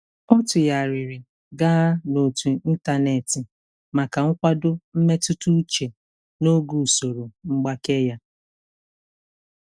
Ọ tụgharịrị gaa na otu ịntanetị maka nkwado mmetụta uche n'oge usoro mgbake ya.